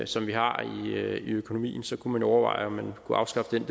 som vi har i økonomien og så kunne man overveje om man kunne afskaffe den